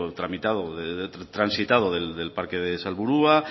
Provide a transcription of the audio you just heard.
transitado del parque de salburua